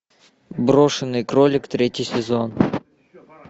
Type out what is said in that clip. брошенный кролик третий сезон